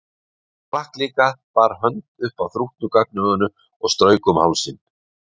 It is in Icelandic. Hann sprakk líka, bar hönd upp að þrútnu gagnauga og strauk um hálsinn.